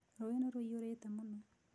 Rũũĩ nĩ rũiyũrĩte mũno.